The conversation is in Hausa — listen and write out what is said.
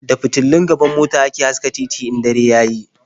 Da fitulun gaban mota ake haska titi in dare ya yi.